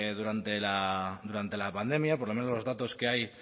durante la pandemia por lo menos los datos que hay